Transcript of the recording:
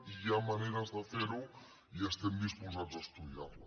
i hi ha maneres de ferho i estem disposats a estudiar les